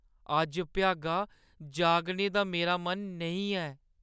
अज्ज भ्यागा जागने दा मेरा मन नेईं ऐ।